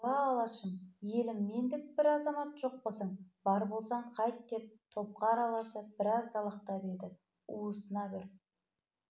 уа алашым елім мендік бір азамат жоқпысың бар болсаң қайт деп топқа араласып біраз далақтап еді уысына бір